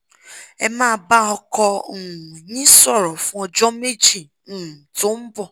ẹ máa bá ọkọ um yín sọ̀rọ̀ fún ọjọ́ méjì um tó ń bọ̀